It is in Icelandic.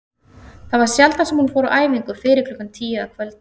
Það var sjaldan sem hún fór á æfingu fyrir klukkan tíu að kvöldi.